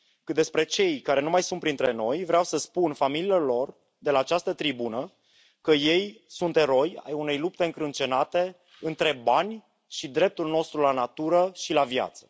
Cât despre cei care nu mai sunt printre noi, vreau să spun familiilor lor, de la această tribună, că ei sunt eroi ai unei lupte încrâncenate între bani și dreptul nostru la natură și la viață.